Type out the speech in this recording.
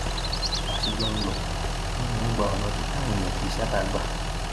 bá a ṣe jọ ń lọ ni mò ń gba ọnà ibi táwọn èèyàn kì í ṣààbà gbà